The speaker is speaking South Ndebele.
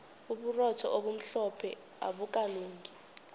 uburotho obumhlophe abukalungi